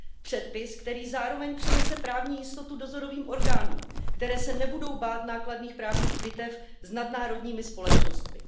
Předpis, který zároveň přinese právní jistotu dozorovým orgánům, které se nebudou bát nákladných právních bitev s nadnárodními společnostmi.